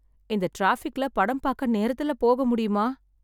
இந்த டிராபிக்ல படம் பாக்க நேரத்துல போக முடியுமா?